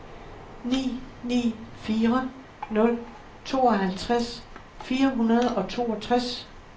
ni ni fire nul tooghalvtreds fire hundrede og toogtres